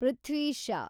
Prithvi Shah